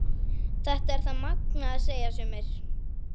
Þetta er það magnaða, segja sumir.